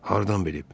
Hardan bilib?